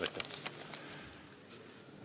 Aitäh!